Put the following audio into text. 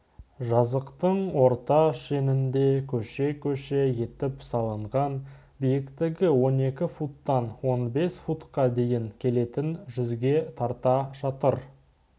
жазықтың орта шенінде көше-көше етіп салынған биіктігі он екі футтан он бес футқа дейін келетін жүзге тарта шатыр